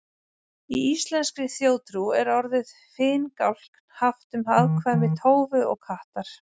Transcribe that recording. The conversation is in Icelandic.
Í íslenskri þjóðtrú er orðið finngálkn haft um afkvæmi tófu og kattar.